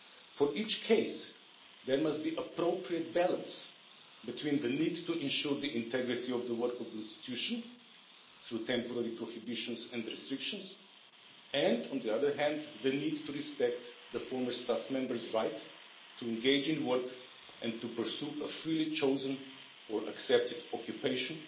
For each case there must be appropriate balance between the need to ensure the integrity of the work of the institution, through temporary prohibitions and restrictions and, on the other hand, the need to respect the former staff members' right to engage in work and to pursue a freely chosen or accepted occupation,